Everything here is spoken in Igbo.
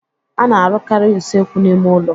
A na-arụkarị usekwu n'ime ụlọ.